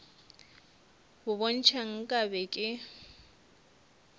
bo ntšha nka be ke